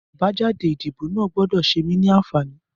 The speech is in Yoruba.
Abàjàdé idibó àná gbọdọ ṣémí ni ànfání